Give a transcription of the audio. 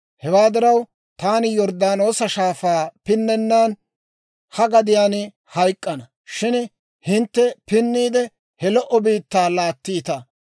Hewaa diraw, taani Yorddaanoosa Shaafaa pinnennan ha gadiyaan hayk'k'ana; shin hintte pinniide, he lo"o biittaa laattiita.